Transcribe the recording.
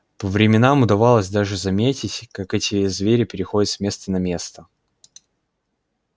по временам удавалось даже заметить как эти звери переходят с места на место